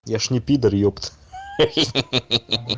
я же не пидор ёпта хе-хе-хе-хе-хе